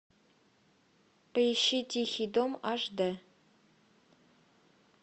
поищи тихий дом аш д